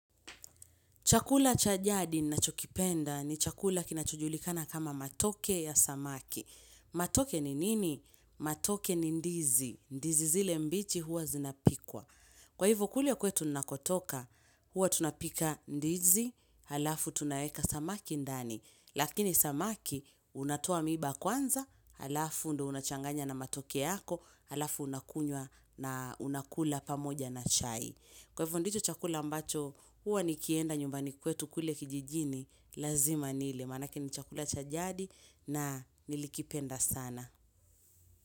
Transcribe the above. Chakula cha jadi ninachokipenda ni chakula kinachojulikana kama matoke ya samaki. Matoke ni nini? Matoke ni ndizi. Ndizi zile mbichi huwa zinapikwa. Kwa hivo kule kwetu ninakotoka, huwa tunapika ndizi, halafu tunaeka samaki ndani. Lakini samaki, unatoa miba kwanza, halafu ndio unachanganya na matoke yako, halafu unakunywa na unakula pamoja na chai. Kwa hivo ndicho chakula ambacho huwa nikienda nyumbani kwetu kule kijijini lazima nile maanake ni chakula cha jadi na nilikipenda sana.